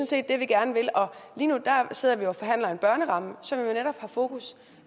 set det vi gerne vil og lige nu sidder vi jo og forhandler en børneramme som netop har fokus